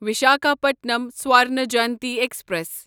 Visakhapatnam Swarna Jayanti express